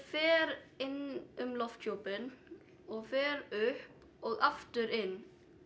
fer inn um lofthjúpinn og fer upp og aftur inn